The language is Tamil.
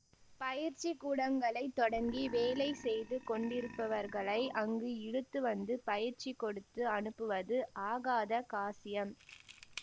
பயிற்சி கூடங்களைத் தொடங்கி வேலை செய்து கொண்டிருப்பவர்களை அங்கு இழுத்து வந்து பயிற்சி கொடுத்து அனுப்புவது ஆகாத காசியம்